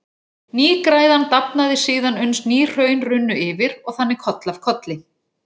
Nýgræðan dafnaði síðan uns ný hraun runnu yfir, og þannig koll af kolli.